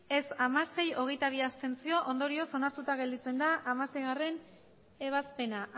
ez hamasei abstentzioak hogeita bi ondorioz onartuta gelditzen da hamaseigarrena ebazpena